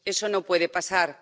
eso no puede pasar.